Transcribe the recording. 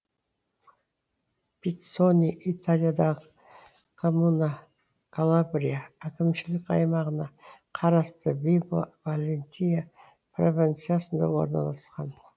пиццони италиядағы коммуна калабрия әкімшілік аймағына қарасты вибо валентия провинциясында орналасқан